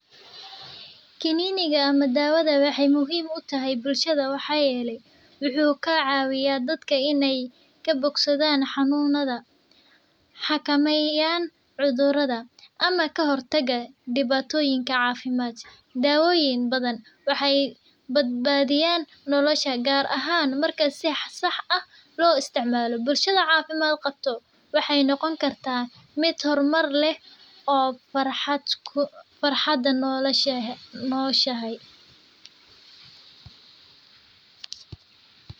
Kaniniga waxeey daawa utahay bulshada waxaa yeele wuxuu kacawiya dadka inaay xakameyan cafimaadka waxeey daweyna dadka bulshada waxeey noqota mid farxad leh oo kunoshahay.